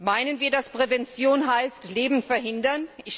Meinen wir, dass Prävention heißt, Leben zu verhindern?